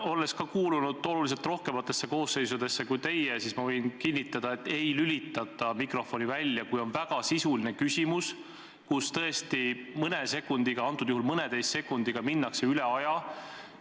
Olles kuulunud oluliselt rohkematesse koosseisudesse kui teie, võin ma kinnitada, et ei ole lülitatud mikrofoni välja, kui on väga sisuline küsimus ja mõne või mõneteist sekundiga on üle aja mindud.